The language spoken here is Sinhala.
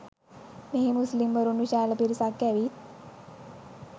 මෙහි මුස්ලිම්වරුන් විශාල පිරිසක් ඇවිත්